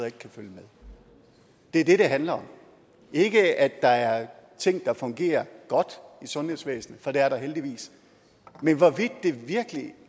ikke kan følge med det er det det handler om ikke at der er ting der fungerer godt i sundhedsvæsenet for det er der heldigvis men hvorvidt det virkelig